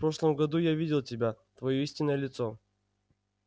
в прошлом году я видел тебя твоё истинное лицо